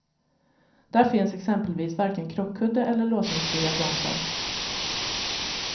Där finns exempelvis varken krockkudde eller låsningsfria bromsar.